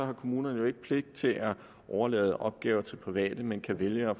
har kommunerne jo ikke pligt til at overlade opgaver til private men kan vælge at